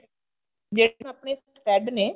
ਜਿਹੜੇ ਆਪਣੇ thread ਨੇ